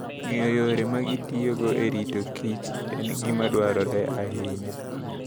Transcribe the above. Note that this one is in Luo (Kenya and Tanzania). Ng'eyo yore ma ginitiyogo e rito kichen gima dwarore ahinya.